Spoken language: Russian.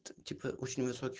т типа очень высоки